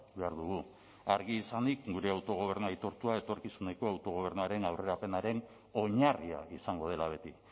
behar dugu argi izanik gure autogobernu aitortua etorkizuneko autogobernuaren aurrerapenaren oinarria izango dela beti